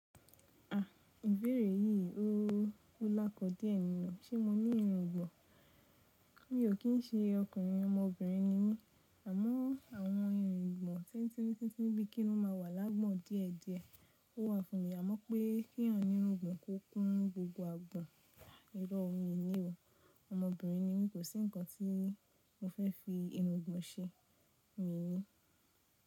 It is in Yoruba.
A, ìbéèrè yìí ó kú lákọ díẹ̀ nì o. Ṣé mo ní irungbọ̀n? Mi ò kí ń ṣe ọkùnrin ọmọbìnrin ni mí. Àmọ́ àwọn irùngbọ̀n tin tin tin bíi kí n ó máa wà lágbo díẹ̀ díẹ̀ ó wà fún mi. Àmọ́ pé kí eyań ní irungbọ̀n kó kún gbogbo agbọ̀n irọ́ mi ni o. Ọmọbìnrin ni mí, kò sí nǹkan tí mo fẹ́ fi irungbọ̀n ṣe. Mi ni.